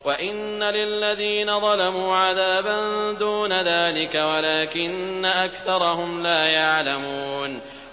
وَإِنَّ لِلَّذِينَ ظَلَمُوا عَذَابًا دُونَ ذَٰلِكَ وَلَٰكِنَّ أَكْثَرَهُمْ لَا يَعْلَمُونَ